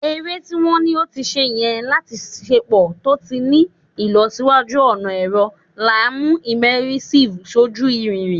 Ere ti wa ni o ti ṣe yẹ lati ṣepọ to ti ni ilọsiwaju ọna ẹrọ, laimu immersive foju iriri